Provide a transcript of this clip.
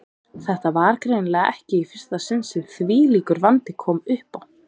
Þetta var greinilega ekki í fyrsta sinn sem þvílíkur vandi kom uppá.